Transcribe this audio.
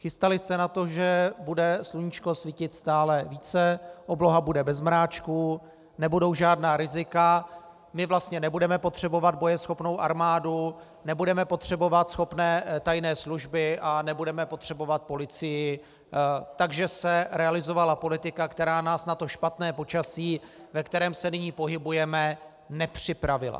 Chystaly se na to, že bude sluníčko svítit stále více, obloha bude bez mráčku, nebudou žádná rizika, my vlastně nebudeme potřebovat bojeschopnou armádu, nebudeme potřebovat schopné tajné služby a nebudeme potřebovat policii, takže se realizovala politika, která nás na to špatné počasí, ve kterém se nyní pohybujeme, nepřipravila.